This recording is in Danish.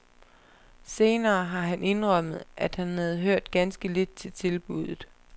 Senere har han indrømmet, at han havde hørt ganske lidt til tilbuddet.